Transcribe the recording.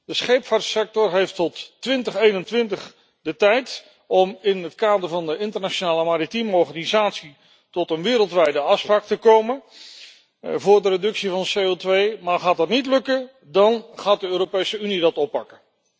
De scheepvaartsector heeft tot 2021 de tijd om in het kader van de Internationale Maritieme Organisatie tot een wereldwijde afspraak te komen voor de reductie van CO2, maar gaat dat niet lukken, dan gaat de Europese Unie dat oppakken.